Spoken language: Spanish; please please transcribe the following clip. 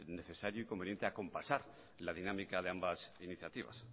necesario y conveniente acompasar la dinámica de ambas iniciativas